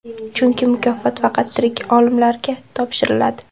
Chunki mukofot faqat tirik olimlarga topshiriladi.